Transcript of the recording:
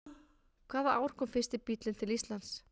Hvaða ár kom fyrsti bíllinn til Íslands?